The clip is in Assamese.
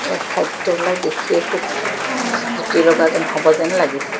এই খাদ্যবিলাক দেখিয়ে খুব জু জুতি লগা যেন হ'ব যেন লাগিছে।